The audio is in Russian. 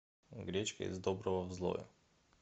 гречка из доброго в злое